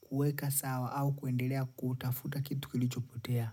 kuweka sawa, au kuendelea kutafuta kitu kilicho potea.